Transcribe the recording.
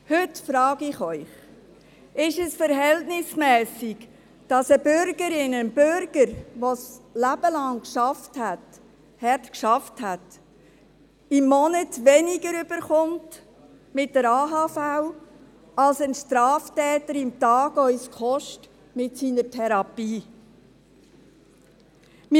Heute frage ich Sie: Ist es verhältnismässig, dass eine Bürgerin, ein Bürger, die/der während ihres/seines Lebens hart gearbeitet haben, im Monat mit der AHV weniger erhält, als uns ein Straftäter mit seiner Therapie pro Tag kostet?